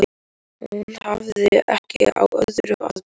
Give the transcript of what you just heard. Hún hafði ekki á öðru að byggja.